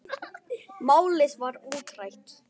Málið var útrætt.